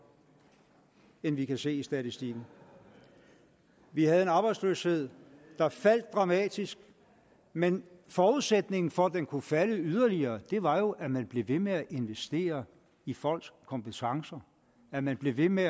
end vi kan se i statistikken vi havde en arbejdsløshed der faldt dramatisk men forudsætningen for at den kunne falde yderligere var jo at man blev ved med at investere i folks kompetencer at man blev ved med